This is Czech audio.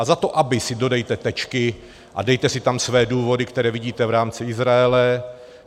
A za to aby si dodejte tečky a dejte si tam své důvody, které vidíte v rámci Izraele.